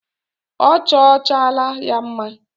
Ọ chọchaala ya mma.